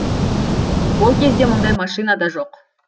ол кезде мұндай машина да жоқ